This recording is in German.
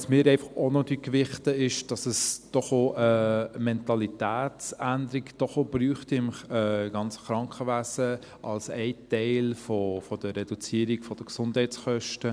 Was wir auch noch gewichten, ist, dass es im ganzen Krankenwesen eine Mentalitätsänderung braucht als ein Teil der Reduzierung der Gesundheitskosten.